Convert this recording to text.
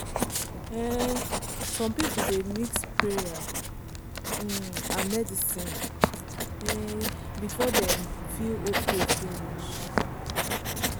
um some people dey mix prayer um and medicine um before dem feel okay finish.